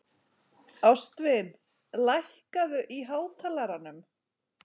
Ástvin, lækkaðu í hátalaranum.